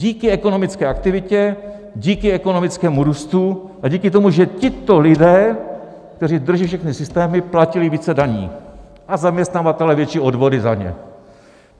Díky ekonomické aktivitě, díky ekonomickému růstu a díky tomu, že tito lidé, kteří drží všechny systémy, platili více daní a zaměstnavatelé větší odvody za ně.